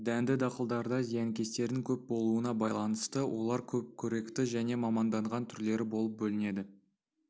дәнді дақылдарда зиянкестердің көп болуына байланысты олар көпқоректі және маманданған түрлері болып бөлінеді